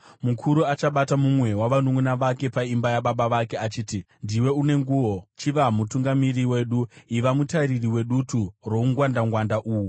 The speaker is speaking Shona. Murume achabata mumwe wavanunʼuna vake paimba yababa vake achiti, “Ndiwe une nguo, chiva mutungamiri wedu; iva mutariri wedutu roungwandangwanda uhu!”